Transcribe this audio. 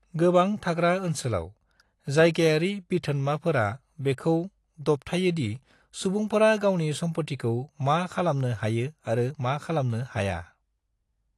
गोबां थाग्रा ओनसोलाव, जायगायारि बिथोनमाफोरा बेखौ दबथायोदि सुबुंफोरा गावनि सम्फथिखौ मा खालानो हायो आरो मा खालामनो हाया।